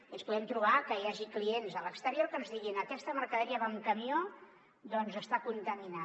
i ens podem trobar que hi hagi clients a l’exterior que ens diguin aquesta mercaderia va en camió doncs està contaminant